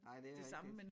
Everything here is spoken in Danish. Nej det rigtigt